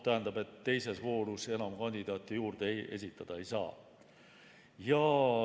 Tähendab, teises voorus enam kandidaate juurde esitada ei saa.